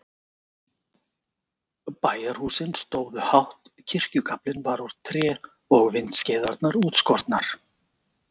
Bæjarhúsin stóðu hátt, kirkjugaflinn var úr tré og vindskeiðarnar útskornar.